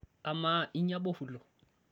amaa inya bofulo?